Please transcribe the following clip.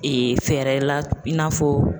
fɛɛrɛ la i n'a fɔ